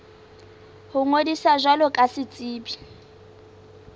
ho ngodisa jwalo ka setsebi